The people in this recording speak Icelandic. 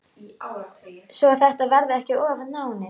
Svo þetta verði ekki of náið.